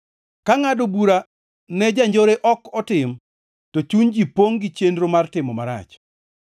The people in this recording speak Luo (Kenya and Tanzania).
Ka ngʼado bura ne janjore ok otim, to chuny ji pongʼ gi chenro mar timo marach.